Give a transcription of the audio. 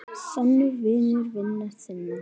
Sannur vinur vina þinna.